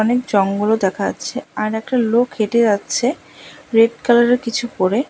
অনেক জঙ্গলও দেখা যাচ্ছে আরেকটা লোক হেঁটে যাচ্ছে রেড কালার এর কিছু পরে।